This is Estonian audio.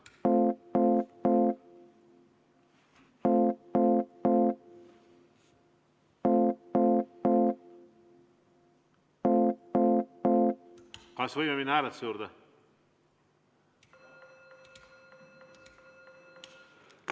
Kas võime minna hääletuse juurde?